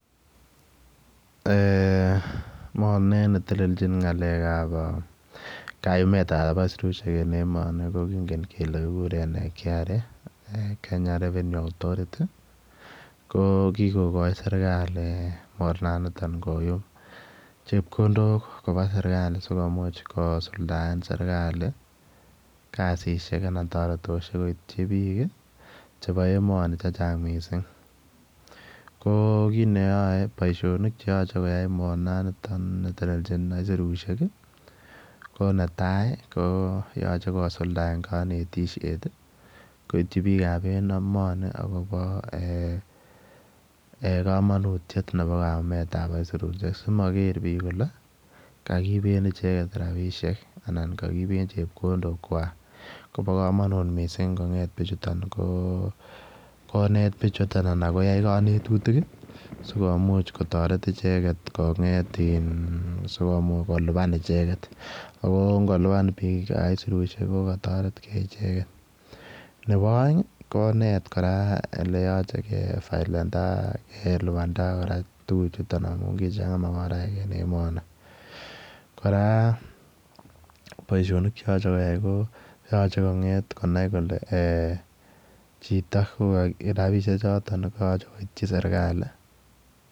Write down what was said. Mornet netelelchin kayumet ab aisurusyek en emoni kingen kele kikuren KRA-Kenya Revenue Authority ko kigogoi sergali mornaniton koyum chepkondok koba sergali sikomuch kosuldaen sergali kasisiek anan toretosiek koityi biik chebo emoni chechang' missing, ko kit neyoe, boisionik cheyoche koyai mornaniton netelelchi aisurusyek ii ko netai ko yoche kosuldaen konetisiet koityi biik ab emoni akobo komonutiet akobo kayumet ab aisurusyek simoger biik kole kogiiben icheget rabisiek anan kagiiben chepkondokwak, ko bo komonut missing kong'eet bichuton konet bichuton anan koyai konetutik sikomuch koteret icheget kong'et, sikomuch koliban icheget, ako ng'oliban biik aisurusyek ko kotoretgee icheget, nebo oeng konet kora oleyoche kefaelenda, kelipanda kora tuguchuton amun kichang'a magoraek en emoni, kora boisionik cheyoche koyai ko yoche kong'et konai kole chito, rabisiek choton koyoche koityi sergali.